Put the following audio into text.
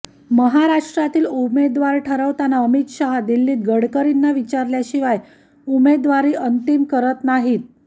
महाराष्ट्रातील उमेदवार ठरवताना अमित शहा दिल्लीत गडकरींना विचारल्याशिवाय उमेदवारी अंतिम करत नाहीत